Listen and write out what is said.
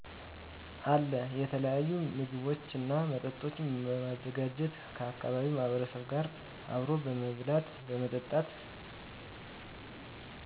አለ። የተለያዪ ምግቦችንና መጠጦችን በማዘጋጀት ከአካባቢው ማህበረሰብ ጋር አብሮ በመብላት በመጠጣት